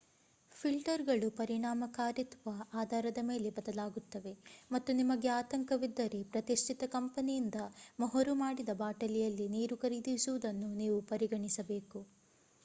ಫಿಲ್ಟರ್‌ಗಳು ಪರಿಣಾಮಕಾರಿತ್ವ ಆಧಾರದ ಮೇಲೆ ಬದಲಾಗುತ್ತವೆ ಮತ್ತು ನಿಮಗೆ ಆತಂಕವಿದ್ದರೆ ಪ್ರತಿಷ್ಠಿತ ಕಂಪನಿಯಿಂದ ಮೊಹರು ಮಾಡಿದ ಬಾಟಲಿಯಲ್ಲಿ ನೀರು ಖರೀದಿಸುವುದನ್ನು ನೀವು ಪರಿಗಣಿಸಬೇಕು